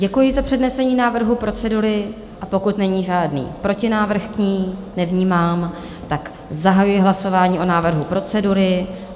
Děkuji za přednesení návrhu procedury a pokud není žádný protinávrh k ní - nevnímám - tak zahajuji hlasování o návrhu procedury.